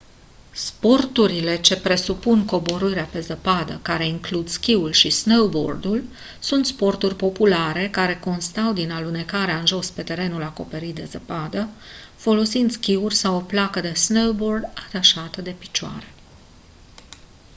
sporturile ce presupun coborârea pe zăpadă care includ schiul și snowboardul sunt sporturi populare care constau din alunecarea în jos pe terenul acoperit de zăpadă folosind schiuri sau o placă de snowboard atașată de picioare